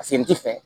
Paseke n ti fɛ